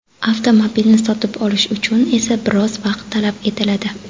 Avtomobilni sotib olish uchun esa biroz vaqt talab etiladi.